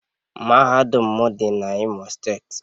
Mahadum m dị n’Imo steeti